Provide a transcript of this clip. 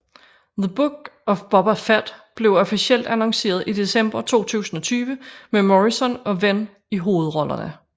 The Book of Boba Fett blev officielt annonceret i december 2020 med Morrison og Wen i hovedrollerne